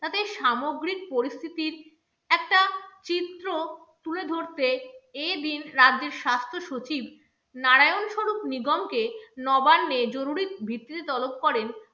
এই সামগ্রিক পরিস্থিতির একটা চিত্র তুলে ধরতে এই দিন রাজ্যের স্বাস্থ্য সচিব নারায়ণ স্বরূপ নিগমকে নবান্নে জরুরি ভিত্তিতে তলব করেন